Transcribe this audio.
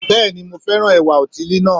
Bẹ́ẹ̀ni mo fẹ́ràn ẹ̀wà òtílí náà